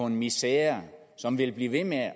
en misere som vil blive ved med at